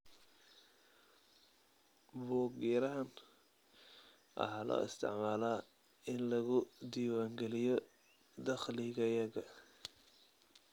Buug-yarahan waxa loo isticmaalaa in lagu diiwaangeliyo dakhligayaga.